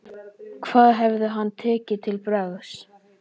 Hvað hefði hann tekið til bragðs?